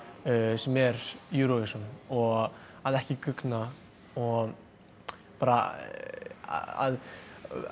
sem er Eurovision og að ekki guggna og bara að